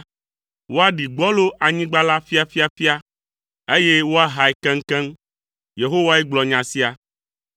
Woaɖi gbɔlo anyigba la ƒiaƒiaƒia, eye woahae keŋkeŋ. Yehowae gblɔ nya sia.